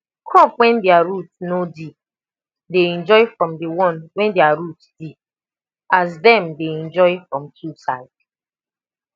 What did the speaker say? crop when their root nor deep dey enjoy from the one when their root deep as dem dey enjoy from two side